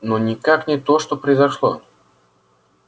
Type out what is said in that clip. но никак не то что произошло